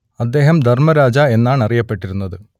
അദ്ദേഹം ധർമ്മരാജ എന്നാണറിയപ്പെട്ടിരുന്നത്